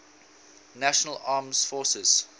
national armed forces